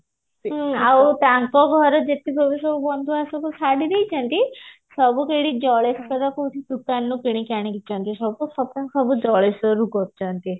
ଆଉ ତାଙ୍କ ଘରେ ଯେତିକ ବି ସବୁ ବନ୍ଧୁ ଶାଢୀ ଦେଇଛନ୍ତି ସବୁ କେଇଠି ଜଳେଶ୍ଵର କୋଉଠି ଦୁକାନରୁ କିଣିକି ଆଣି ଛନ୍ତି ସବୁ shopping ସବୁ ଜଳେଶ୍ଵର ରୁ କରିଛନ୍ତି